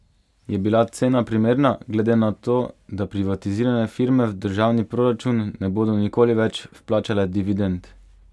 Je bila cena primerna, glede na to, da privatizirane firme v državni proračun ne bodo nikoli več vplačale dividend?